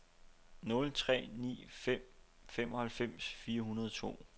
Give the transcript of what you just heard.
nul tre ni fem femoghalvfems fire hundrede og to